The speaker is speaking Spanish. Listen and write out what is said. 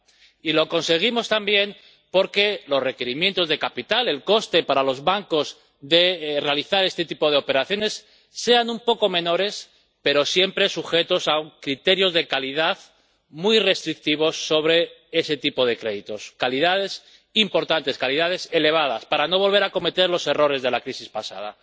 Y lo conseguimos también para que los requerimientos de capital o el coste para los bancos de realizar este tipo de operaciones sean un poco menores, pero siempre sujetos a criterios de calidad muy restrictivos sobre ese tipo de créditos calidades importantes, calidades elevadas para no volver a cometer los errores de la crisis pasada.